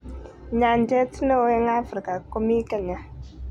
Nyanjet ne oo eng Afrika komii kenya